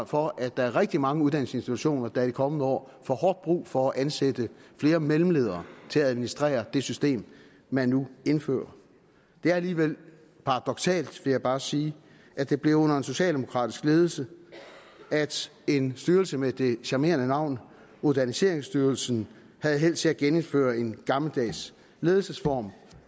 for at der er rigtig mange uddannelsesinstitutioner der i de kommende år får hårdt brug for at ansætte flere mellemledere til at administrere det system man nu indfører det er alligevel paradoksalt vil jeg bare sige at det blev under en socialdemokratisk ledelse at en styrelse med det charmerende navn moderniseringsstyrelsen havde held til at genindføre en gammeldags ledelsesform